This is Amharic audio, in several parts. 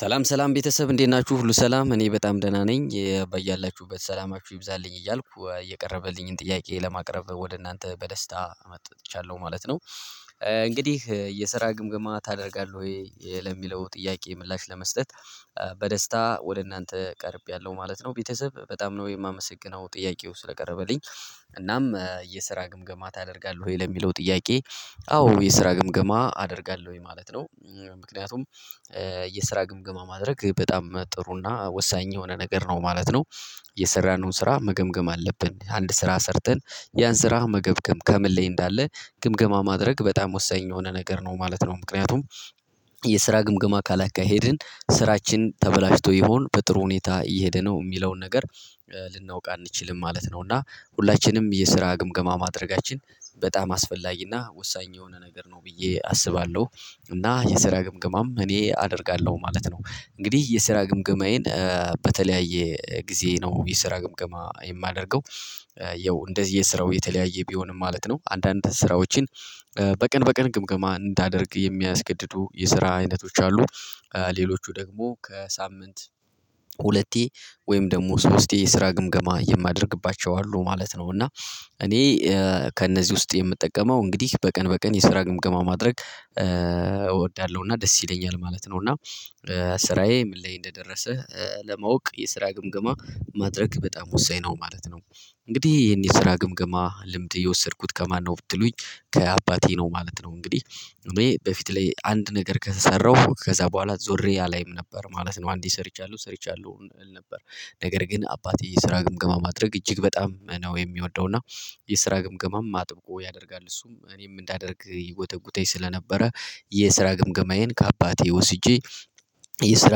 ሰላም ሰላም ቤተሰብ እንዴት ናችሁ ሁሉ ሰላም እኔ በጣም ደህና ነኝ በያላችሁበት ሰላማችሁ ይብዛልኝ እያልኩ የቀረበልኝን ጥያቄ ለማቅረብ ወደ እናንተ በደስታ መጥቻለሁ ማለት ነው። እንግዲህ የስራ ግምግማ ታደርጋለህ ወይ ለሚለው ጥያቄ ምላሽ ለመስጠት። በደስታ ወደ እናንተ ቀርቤያለሁ ማለት ነው። ቤተሰብ በጣም ነው የማመሰግነው ጥያቄው ስለቀረበልኝ እናም የስራ ግምገማ ታደርጋለህ ወይ ለሚለው ጥያቄ? አዎ የስራ ግምገማ አደርጋለሁ ማለት ነው። ምክንያቱም የስራ ግምገማ ማድረግ በጣም ጥሩና ወሳኝ የሆነ ነገር ነው ማለት ነው። የሰራነውን ስራ መገምገም አለብን አንድ ስራ ሰርተን ያን ስራ መገምገም ከምን ላይ እንዳለ ግምገማ ማድረግ በጣም ወሳኝ የሆነ ነገር ነው ማለት ነው። ምክንያቱም የስራ ግምገማ ካላካሄድን ስራችን ተበላሽቶ ይሆን በጥሩ ሁኔታ እየሄደ ነው የሚለውን ነገር ልናውቅ አንችልም ማለት ነው። እና ሁላችንም የስራ ግምገማ ማድረጋችን በጣም አስፈላጊና ወሳኝ የሆነ ነገር ነው ብዬ አስባለሁ እና የስራ ግምግማም እኔ አደርጋለሁ ማለት ነው። እንግዲህ የስራ ግምገማዬን በተለያየ ጊዜ ነው የስራ ግምገማ የማደርገው። ያው እንደየ ስራው የተለያየ ቢሆንም ማለት ነው አንዳንድ ስራዎችን በቀን በቀን ግምገማ እንዳደርግ የሚያስገድዱ የስራ አይነቶች አሉ። ሌሎቹ ደግሞ ከሳምንት ሁለቴ ወይም ደግሞ ሶስቴ የስራ ግምገማ የማደርግባቸው አሉ ማለት ነው። እና እኔ ከእነዚህ ውስጥ የምጠቀመው እንግዲህ በቀን በቀን የስራ ግምገማ ማድረግ እወዳለሁና ደስ ይለኛል ማለት ነው። እና ስራዬ ምን ላይ እንደደረሰ ለማወቅ የስራ ግምገማ ማድረግ በጣም ወሳኝ ነው ማለት ነው። እንግዲህ ይሄን የስራ ግምግማ ልምድ የወሰድኩት ከማነው ብትሉኝ? ከአባቴ ነው ማለት ነው። እንግዲህ ኑሮዬ በፊት ላይ አንድ ነገር ከሰራሁ ከዛ በኋላ ዞሬ አላይም ነበር ማለት ነው። አንዴ ሰርቻለሁ ሰርቻለሁ እል ነበር ነገር ግን አባቴ የስራ ግምገማ ማድረግ እጅግ በጣም ነው የሚወደው እና የስራ ግምገማም አጥብቆ ያደርጋል እሱም እኔ እንዳደርግ ይጎተጉተኝ ስለነበረ የስራ ግምገማዬን ከአባቴ ወስጄ የስራ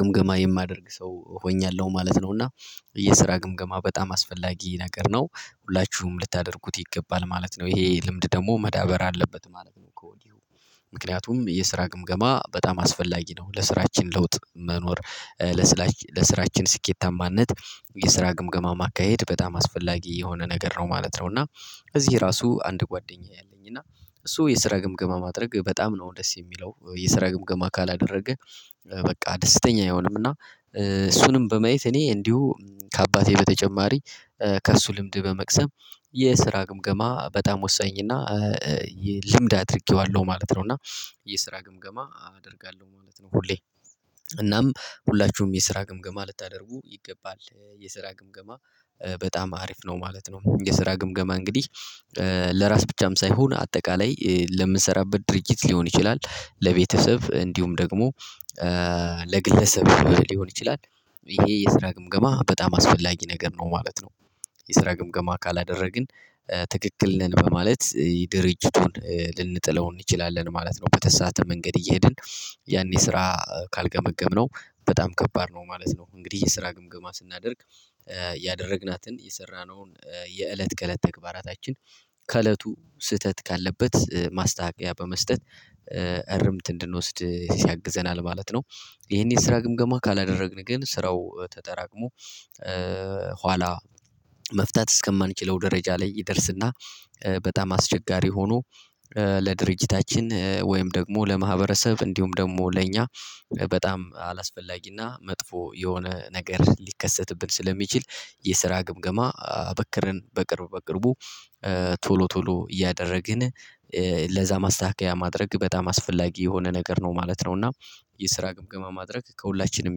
ግምገማ የማደርግ ሰው ሆኛለሁ ማለት ነው። እና የስራ ግምገማ በጣም አስፈላጊ ነገር ነው ሁላችሁም ልታደርጉት ይገባል ማለት ነው። ይሄ ልምድ ደግሞ መዳበር አለበት ማለት ነው ከወዲሁ ምክንያቱም የስራ ግምገማ በጣም አስፈላጊ ነው ለስራችን ለውጥ መኖር ለስራችን ስኬታማነት የስራ ግምገማ ማካሄድ በጣም አስፈላጊ የሆነ ነገር ነው ማለት ነው። እና እዚህ ራሱ አንድ ጓደኛየ አለኝ እና እሱ የስራ ግምገማ ማድረግ በጣም ነው ደስ የሚለው የስራ ግምገማ ካላደረገ በቃ ደስተኛ አይሆንም። እና እሱንም በማየት እኔ እንዲሁ ከአባቴ በተጨማሪ ከእሱ ልምድ በመቅሰም የስራ ግምገማ በጣም ወሳኝና ልምድ አድርጌዋለሁ ማለት ነው። እና የስራ ግምገማ አደርጋለሁ ማለት ነው ሁሌ እናም ሁላችሁም የስራ ግምገማ ልታደርጉ ይገባል የስራ ግምገማ በጣም አሪፍ ነው ማለት ነው። የስራ ግምገማ እንግዲህ ለራስ ብቻም ሳይሆን አጠቃላይ ለምሰራበት ድርጅት ሊሆን ይችላል ለቤተሰብ እንዲሁም ደግሞ ለግለሰብ ሊሆን ይችላል። ይሄ የስራ ግምገማ በጣም አስፈላጊ ነገር ነው ማለት ነው። የስራ ግምገማ ካላደረግን ትክክል ነን በማለት ድርጅቱን ልንጥለው እንችላለን ማለት ነው በተሳሳተ መንገድ እየሄድን ያን ስራ ካልገመገምነው በጣም ከባድ ነው ማለት ነው። እንግዲህ የስራ ግምገማ ስናደርግ ያደረግናትን የሰራነውን የእለት ከእለት ተግባራታችን ከእለቱ ስህተት ካለበት ማስተካኪያ በመስጠት እርምት እንድንወስድ ያግዘናል ማለት ነው። ይሄን የስራ ግምገማ ካላደረግን ግን ስራው ተጠራቅሞ ኋላ መፍታት እስከማንችለው ደረጃ ላይ ይደርስና በጣም አስቸጋሪ ሆኖ ለድርጅታችን ወይም ደግሞ ለማህበረሰብ እንዲሁም ደግሞ ለእኛ በጣም አላስፈላጊና መጥፎ የሆነ ነገር ሊከሰትብን ስለሚችል የስራ ግምገማ አበክረን በቅርብ በቅርቡ ቶሎ ቶሎ እያደረግን ለዛ ማስተካከያ ማድረግ በጣም አስፈላጊ የሆነ ነገር ነው ማለት ነው። እና የስራ ግምገማ ማድረግ ከሁላችንም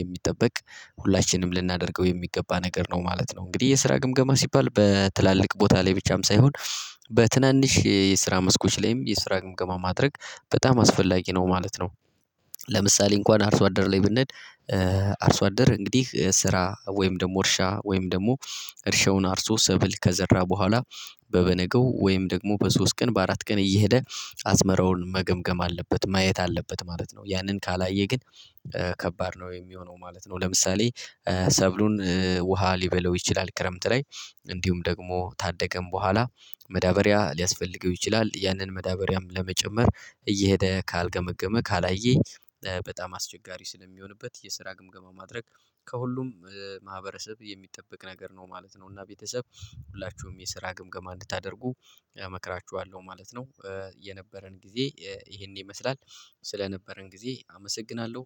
የሚጠበቅ ሁላችንም ልናደርገው የሚገባ ነገር ነው ማለት ነው። እንግዲህ የስራ ግምገማ ሲባል በትላልቅ ቦታ ላይ ብቻም ሳይሆን በትናንሽ የስራ መስኮች ላይም የስራ ግምገማ ማድረግ በጣም አስፈላጊ ነው ማለት ነው። ለምሳሌ እንኳን አርሶ አደር ላይ ብንሄድ አርሶ አደር እንግዲህ ስራ ወይም ደግሞ እርሻ ወይም ደግሞ እርሻውን አርሶ ሰብል ከዘራ በኋላ በበነገው ወይም ደግሞ በሶስት ቀን በአራት ቀን እየሄደ አዝመራውን መገምገም አለበት ማየት አለበት ማለት ነው። ያንን ካላየ ግን ከባድ ነው የሚሆነው ማለት ነው። ለምሳሌ ሰብሉን ውሃ ሊበላው ይችላል ክረምት ላይ እንዲሁም ደግሞ ታደገም በኋላ መዳበሪያ ሊያስፈልገው ይችላል ያንን መዳበሪያም ለመጨመር እየሄደ ካልገመገመ ካላየኝ በጣም አስቸጋሪ ስለሚሆንበት የስራ ግምገማ ማድረግ ከሁሉም ማህበረሰብ የሚጠበቅ ነገር ነው ማለት ነው። እና ቤተሰብ ሁላችሁም የስራ ግምገማ እንድታደርጉ እመክራችኋለሁ ማለት ነው። የነበረን ጊዜ ይሄን ይመስላል ስለነበረን ጊዜ አመሰግናለሁ